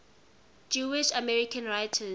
jewish american writers